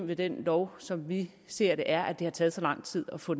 med den lov som vi ser det er at det har taget så lang tid at få